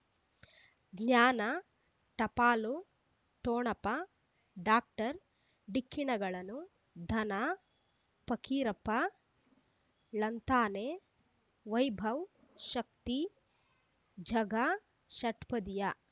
ಜ್ಞಾನ ಟಪಾಲು ಠೊಣಪ ಡಾಕ್ಟರ್ ಢಿಕ್ಕಿ ಣಗಳನು ಧನ ಫಕೀರಪ್ಪ ಳಂತಾನೆ ವೈಭವ್ ಶಕ್ತಿ ಝಗಾ ಷಟ್ಪದಿಯ